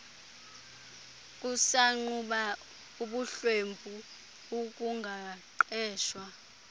kusagquba ubuhlwempu ukungaqeshwa